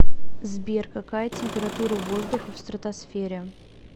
сбер какая температура воздуха в стратосфере